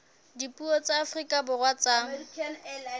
dipuo tsa afrika borwa tsa